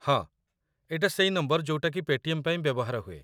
ହଁ, ଏଇଟା ସେଇ ନମ୍ବର ଯୋଉଟାକି ପେ'ଟିଏମ୍‌‌ ପାଇଁ ବ୍ୟବହାର ହୁଏ ।